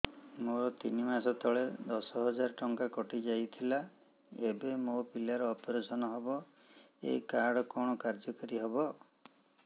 ମୋର ତିନି ମାସ ତଳେ ଦଶ ହଜାର ଟଙ୍କା କଟି ଯାଇଥିଲା ଏବେ ମୋ ପିଲା ର ଅପେରସନ ହବ ଏ କାର୍ଡ କଣ କାର୍ଯ୍ୟ କାରି ହବ